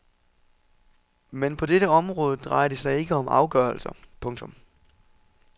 Men på dette område drejer det sig ikke om afgørelser. punktum